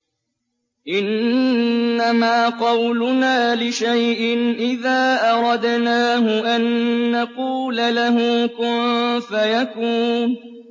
إِنَّمَا قَوْلُنَا لِشَيْءٍ إِذَا أَرَدْنَاهُ أَن نَّقُولَ لَهُ كُن فَيَكُونُ